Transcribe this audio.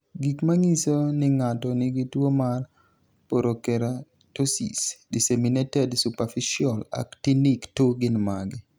Gik manyiso ni ng'ato nigi tuwo mar Porokeratosis, disseminated superficial actinic 2 gin mage?